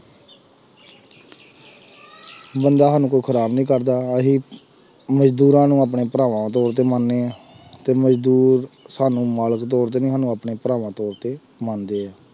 ਬੰਦਾ ਸਾਨੂੰ ਕੋਈ ਖ਼ਰਾਬ ਨੀ ਕਰਦਾ ਅਸੀਂ ਮਜ਼ਦੂਰਾਂ ਨੂੰ ਆਪਣੇ ਭਰਾਵਾਂ ਤੌਰ ਤੇ ਮੰਨਦੇ ਹਾਂ ਤੇ ਮਜ਼ਦੂਰ ਸਾਨੂੰ ਮਾਲਕ ਤੌਰ ਤੇ ਨੀ ਸਾਨੂੰ ਆਪਣੇ ਭਰਾਵਾਂ ਤੌਰ ਤੇ ਮੰਨਦੇ ਆ।